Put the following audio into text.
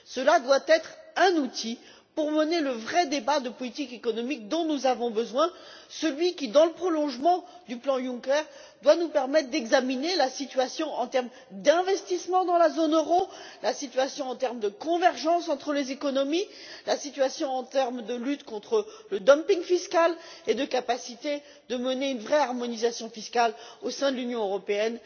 Nous voulons un outil qui permettra d'organiser le vrai débat de politique économique dont nous avons besoin, celui qui dans le prolongement du plan Juncker va nous permettre d'examiner la situation en termes d'investissements dans la zone euro, la situation en termes de convergence entre les économies, la situation en termes de lutte contre le dumping fiscal et de capacité à mener une vraie harmonisation fiscale au sein de l'Union européenne.